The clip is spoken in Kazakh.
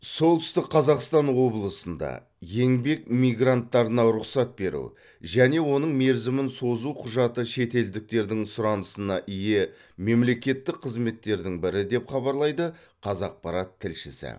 солтүстік қазақстан облысында еңбек мигранттарына рұқсат беру және оның мерзімін созу құжаты шетелдіктердің сұранысына ие мемлекеттік қызметтердің бірі деп хабарлайды қазақпарат тілшісі